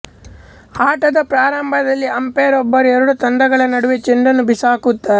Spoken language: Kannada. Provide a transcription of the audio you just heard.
ಆಟದ ಪ್ರಾರಂಭದಲ್ಲಿ ಅಂಪೈರ್ ಒಬ್ಬರು ಎರಡೂ ತಂಡಗಳ ನಡುವೆ ಚೆಂಡನ್ನು ಬಿಸಾಕುತ್ತಾರೆ